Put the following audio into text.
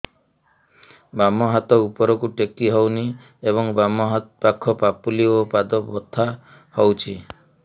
ବାମ ହାତ ଉପରକୁ ଟେକି ହଉନି ଏବଂ ବାମ ପାଖ ପାପୁଲି ଓ ପାଦ ବଥା ହଉଚି